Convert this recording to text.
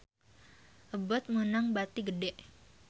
Abboth meunang bati gede